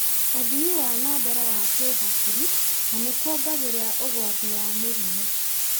ũthii wa na mbere wa kĩhakiri, na nĩ kuongagĩrĩra ũgwati wa mĩrimũ.